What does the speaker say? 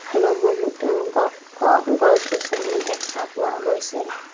আৰু বহুতো গ ঘ গছ-গছনিও দেখা পোৱা গৈছে।